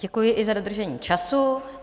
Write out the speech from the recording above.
Děkuji i za dodržení času.